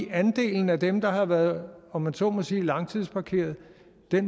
andelen af dem der har været om man så må sige langtidsparkeret